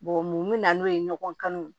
mun bɛ na n'o ye ɲɔgɔn kan